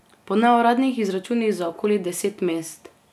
Po neuradnih izračunih za okoli deset mest.